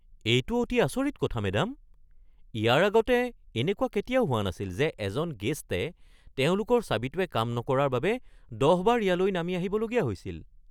এইটো অতি আচৰিত কথা, মেডাম। ইয়াৰ আগতে এনেকুৱা কেতিয়াও হোৱা নাছিল যে এজন গেষ্টে তেওঁলোকৰ চাবিটোৱে কাম নকৰাৰ বাবে ১০ বাৰ ইয়ালৈ নামি আহিবলগীয়া হৈছিল । (হোটেল অতিথি সম্পৰ্ক)